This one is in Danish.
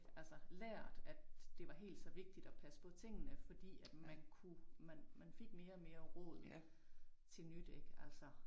Altså lært at det var helt så vigtigt at passe på tingene fordi at man kunne man man fik mere og mere råd til nyt ik altså